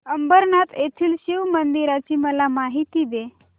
अंबरनाथ येथील शिवमंदिराची मला माहिती दे